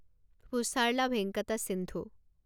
Pusarla Venkata Sindhu